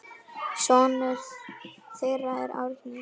Sonur þeirra er Árni.